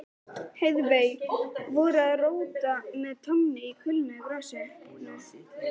Heiðveig voru að róta með tánni í kulnuðu grasinu.